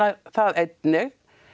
það einnig